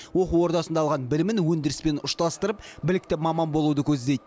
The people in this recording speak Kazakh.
оқу ордасында алған білімін өндіріспен ұштастырып білікті маман болуды көздейді